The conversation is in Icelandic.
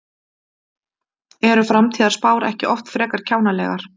Eru framtíðarspár ekki oft frekar kjánalegar?